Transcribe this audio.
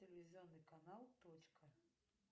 телевизионный канал точка